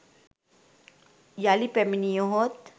යළි පැමිණියහොත්